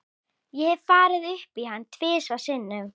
Ég hef farið upp í hann tvisvar sinnum.